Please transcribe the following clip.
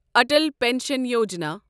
Atal pension Yojana